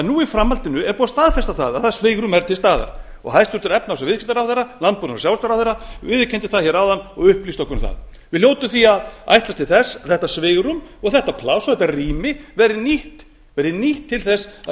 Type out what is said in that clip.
nú í framhaldinu er búið að staðfesta að það svigrúm er til staðar hæstvirtur efnahags og viðskiptaráðherra landbúnaðar og sjávarútvegsráðherra viðurkenndi það áðan og upplýsti okkur um það við hljótum því að ætlast til þess að þetta svigrúm þetta pláss og þetta rými verði nýtt til að